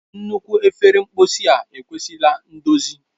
Nnukwu efere mposi a kwesịrị ndozi.